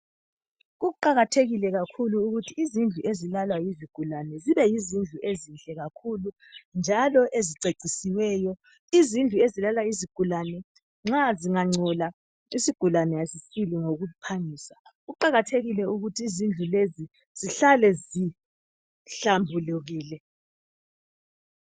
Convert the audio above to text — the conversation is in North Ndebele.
kuqakathekile kakhulu ukuthi izindlu ezilalwa yizigulane zibe yizindlu ezinhle kakhulu njalo ezicecisiweyo izindlu ezilalwa yizigulane nxa zingancola isigulane asisili ngokuphangisa kuqakathekile ukuthi izindlu lezi zihlale zihlambulekile